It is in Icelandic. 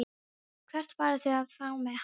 Hvert farið þið þá með hann?